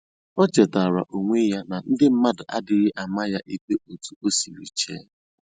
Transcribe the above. O chetara onwe ya na ndị mmadụ adịghị ama ya ikpe otu o siri chee